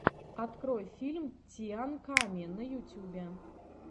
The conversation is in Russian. открой фильм тиан ками на ютюбе